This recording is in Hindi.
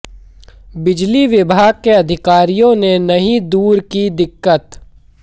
बिजली विभाग के अधिकारियों ने नहीं दूर की दिक्कत